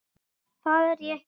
Það er ég ekki.